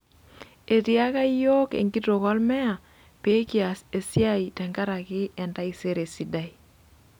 Etiaka yiok enkitok olmeya pee kias esia tenkaraki entaisere sidai.